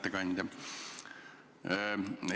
Hea ettekandja!